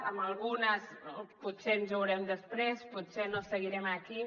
amb algunes potser ens veurem desprès potser no seguirem aquí